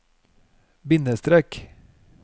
bindestrek